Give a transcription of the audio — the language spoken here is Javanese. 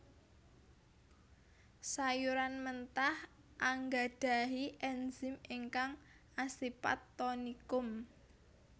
Sayuran mentah anggadhahi ènzim ingkang asipat tonikum